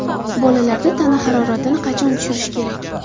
Bolalarda tana haroratini qachon tushirish kerak?.